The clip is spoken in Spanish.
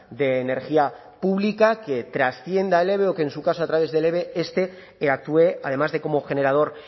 de energía pública que transcienda el eve o que en su caso a través del eve este actúe además de como generador